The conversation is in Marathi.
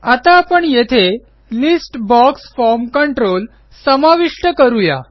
आता आपण येथे लिस्ट बॉक्स फॉर्म कंट्रोल समाविष्ट करू या